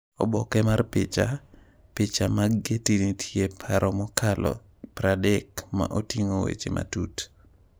Oboke mar picha, Picha mag Getty Nitie paro mokalo 30 ma oting’o weche matut.